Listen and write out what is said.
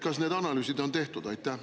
Kas need analüüsid on tehtud?